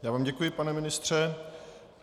Já vám děkuji, pane ministře.